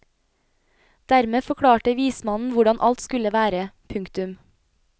Dermed forklarte vismannen hvordan alt skulle være. punktum